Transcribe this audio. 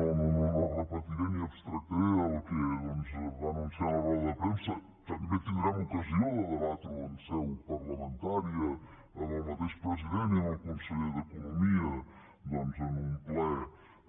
no repetiré ni extractaré el que va anunciar en roda de premsa també tindrem ocasió de debatre ho en seu parlamentària amb el mateix president i amb el conseller d’economia en un ple